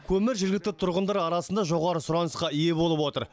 көмір жергілікті тұрғындар арасында жоғары сұранысқа ие болып отыр